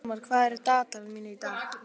Sólmar, hvað er á dagatalinu mínu í dag?